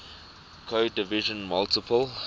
code division multiple